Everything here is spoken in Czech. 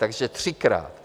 Takže třikrát.